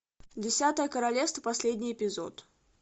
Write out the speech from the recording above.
десятое королевство последний эпизод